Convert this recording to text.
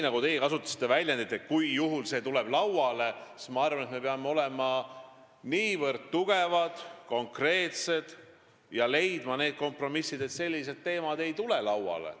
Te kasutasite väljendit "juhul kui see tuleb lauale", aga mina arvan, et me peame olema niivõrd tugevad ja konkreetsed, et suudame leida kompromisse, et sellised teemad ei tuleks lauale.